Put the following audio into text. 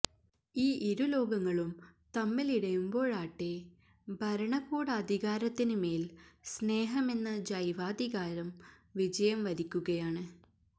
ഈ ഇരുലോകങ്ങളും തമ്മിലിടയുമ്പോഴാട്ടെ ഭരണകൂടാധികാരത്തിന് മേല് സ്നേഹമെന്ന ജൈവാധികാരം വിജയം വരിക്കുകയാണ്